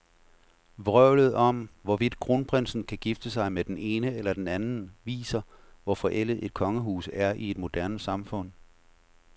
Vrøvlet om, hvorvidt kronprinsen kan gifte sig med den ene eller den anden, viser, hvor forældet et kongehus er i et moderne samfund.